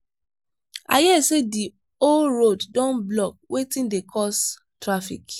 i hear say the whole road don blockwetin dey cause traffic?